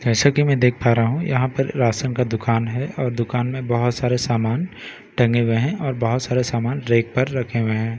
जैसे कि मैं देख पा रहा हूं यहां पर राशन का दुकान है और दुकान में बहुत सारे सामान टंगे हुए हैं और बहुत सारे सामान रैक पर रखे हुए हैं।